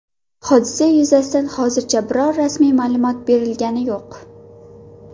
Hodisa yuzasidan hozircha biror rasmiy ma’lumot berilgani yo‘q.